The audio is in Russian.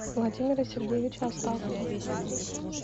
владимира сергеевича астахова